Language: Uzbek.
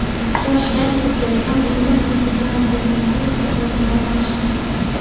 Shoshgancha kelsam, uyimiz eshigidan kirgan suv tizzadan oshgan.